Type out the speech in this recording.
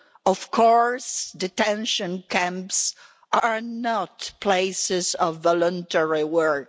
Of course detention camps are not places of voluntary work.